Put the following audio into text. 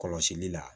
Kɔlɔsili la